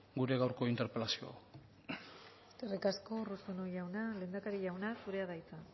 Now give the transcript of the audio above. gure gaurko interpelazio hau eskerrik asko urruzuno jauna lehendakari jauna zurea da hitza